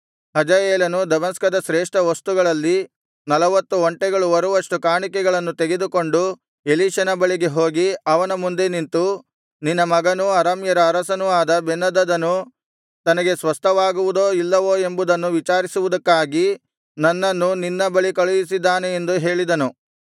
ಹಜಾಯೇಲನು ದಮಸ್ಕದ ಶ್ರೇಷ್ಠ ವಸ್ತುಗಳಲ್ಲಿ ನಲವತ್ತು ಒಂಟೆಗಳು ಹೊರುವಷ್ಟು ಕಾಣಿಕೆಗಳನ್ನು ತೆಗೆದುಕೊಂಡು ಎಲೀಷನ ಬಳಿಗೆ ಹೋಗಿ ಅವನ ಮುಂದೆ ನಿಂತು ನಿನ್ನ ಮಗನೂ ಅರಾಮ್ಯರ ಅರಸನೂ ಆದ ಬೆನ್ಹದದನು ತನಗೆ ಸ್ವಸ್ಥವಾಗುವದೋ ಇಲ್ಲವೋ ಎಂಬುದನ್ನು ವಿಚಾರಿಸುವುದಕ್ಕಾಗಿ ನನ್ನನ್ನು ನಿನ್ನ ಬಳಿ ಕಳುಹಿಸಿದ್ದಾನೆ ಎಂದು ಹೇಳಿದನು